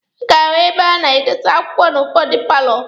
A ga-ahụ ebe a na-adọsa akwụkwọ n'ụfọdụ paalọ